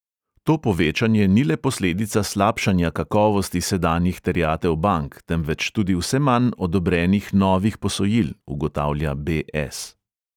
To povečanje ni le posledica slabšanja kakovosti sedanjih terjatev bank, temveč tudi vse manj odobrenih novih posojil, ugotavlja be|es.